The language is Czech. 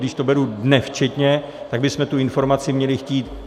Když to beru dnes včetně, tak bychom tu informaci měli chtít.